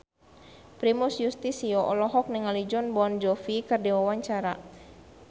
Primus Yustisio olohok ningali Jon Bon Jovi keur diwawancara